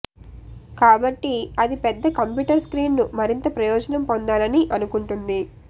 కాబట్టి అది పెద్ద కంప్యూటర్ స్క్రీన్ ను మరింత ప్రయోజనం పొందాలని అనుకుంటుంది